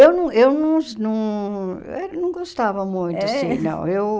Eu não eu não não eh não gostava muito assim, não. Eu